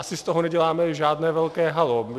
Asi z toho neděláme žádné velké haló.